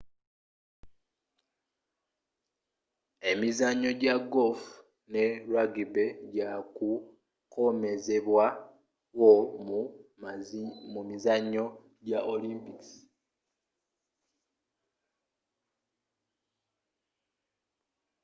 emizannyo ja golf ne rubgy gya kukomezebwa wo mu mizannyo gya olympic